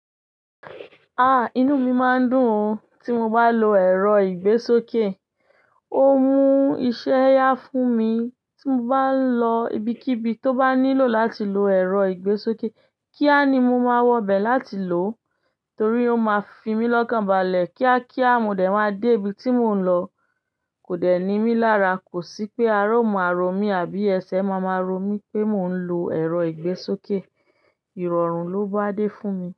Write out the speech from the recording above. Ah! Inú mi máa ń dùn tí mo bá lo ẹ̀rọ ìgbésókè. Ó mú iṣẹ́ yá fún mi tí mo bá ń lọ ibikíbi tó bá nílò láti lo ẹ̀rọ ìgbésókè. Kíá ni mo máa wọ bẹ̀ láti lò torí ó máa fi mí lọ́kànbalẹ̀. Kíá kíá mo dẹ̀ máa dé ibi tí mò ń lọ. Kò dẹ̀ ní mí lára. Kò sí pé ara o maa rò mi àbí ẹsẹ̀ máa máa ro mí pé mò ń lo ẹ̀rọ ìgbésókè. Ìrọ̀rùn ló bá dé fún mi.